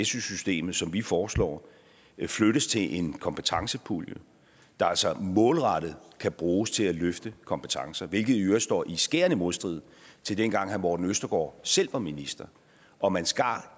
systemet som vi foreslår flyttes til en kompetencepulje der altså målrettet kan bruges til at løfte kompetencer hvilket i øvrigt står i skærende modstrid til dengang herre morten østergaard selv var minister og man skar